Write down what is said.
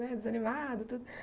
Desanimado tudo.